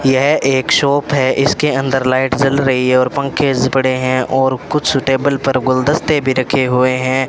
यह एक शॉप है इसके अंदर लाइट जल रही है और पंखे ज पड़े हैं और कुछ टेबल पर गुलदस्ते भी रखे हुए हैं।